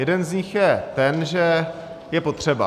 Jeden z nich je ten, že je potřeba.